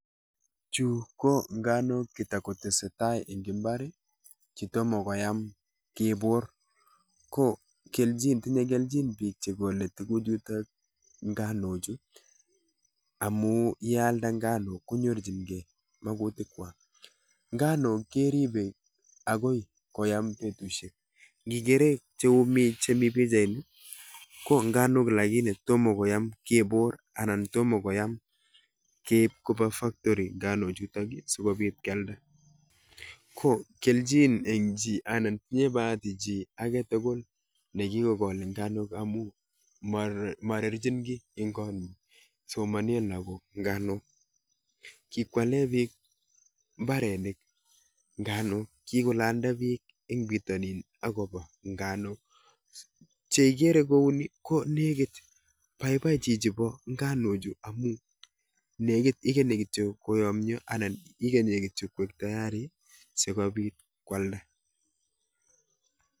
Chu go nganuk chuton kotestai en imbar chetam ko koyam ki bur konkeljin bik Cheole tuguk chuton ko ngano Chu amun yealde ngano Chu konyorchin gei makutik kwak nganok keribe akoi koyam betushek Keren chemii bichait konganok lakini Tomo koyam kebor anan Tomo koyam keib Koba factori ngano chuton ko keljin en chi anan tinye Bahati chi aketugul nekikokol nganuk marching ki en nganuk ako yalen bik imbaret nganok kikolanda bik en bitanin akobo nganuk cheakere kounin ko nekit baibai kabisa chichiton ba nganuk Chu amun nekit kityo koyamia anan ikanye kityo koiktayari sikobit kwalda